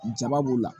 Jaba b'u la